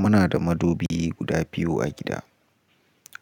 Muna da madubi guda biyu a gida,